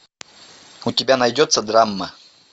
у тебя найдется драма